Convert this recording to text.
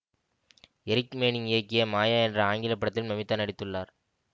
Eric Manning இயக்கிய மாயா என்ற ஆங்கில படத்திலும் நமிதா நடித்துள்ளார்